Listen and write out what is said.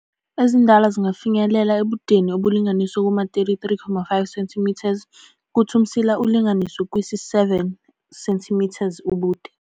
Ezindala zingafinyelela ebudeni obulinganiselwe kuma-33.5 wama cm, kuth' umsila wona ulinganiselwe kwisi-7 sma cm ubude.